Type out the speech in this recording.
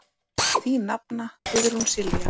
Þín nafna, Guðrún Silja.